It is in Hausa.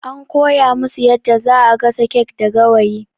An kowa musu yadda zaa gasa kek da Gawayi